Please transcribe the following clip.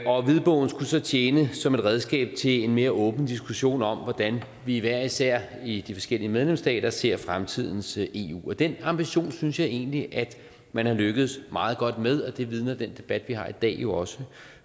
og hvidbogen skulle så tjene som et redskab til en mere åben diskussion om hvordan vi hver især i de forskellige medlemsstater ser fremtidens eu og den ambition synes jeg egentlig man er lykkedes meget godt med og det vidner den debat vi har i dag jo også